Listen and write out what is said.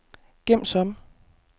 gem som